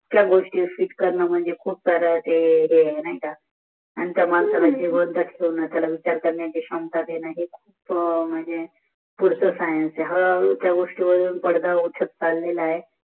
त्या गोष्टी वर रिसर्च कारण मंजे खूप सर ते आहे नाही का आणि त्या माणसाला जिवंत ठेवण त्याल विचा करण्याची शांता देन हे खूप मंजे पुढच सायन्स त्या गोस्स्ती वरून पडदा उठत चाललेला आहे